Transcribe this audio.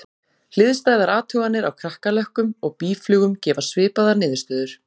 Hliðstæðar athuganir á kakkalökkum og býflugum gefa svipaðar niðurstöður.